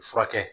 Furakɛ